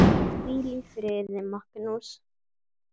Hvíl í friði, Magnús.